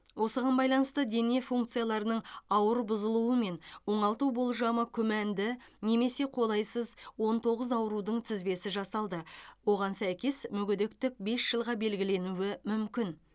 осыған байланысты дене функцияларының ауыр бұзылуымен оңалту болжамы күмәнді немесе қолайсыз он тоғыз аурудың тізбесі жасалды оған сәйкес мүгедектік бес жылға белгіленуі мүмкін